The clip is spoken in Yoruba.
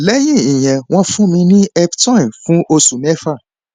lẹyìn ìyẹn wọn fún mi ní eptoin fún oṣù mẹfà